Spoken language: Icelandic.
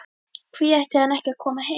Hví ætti hann ekki að koma heim?